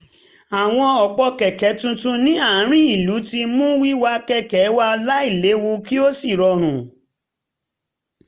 àwọn òpó kẹ̀kẹ́ tuntun ní àárín ìlú ti mú wíwà kẹ̀kẹ́ wà láìléwu kí ó sì rọrùn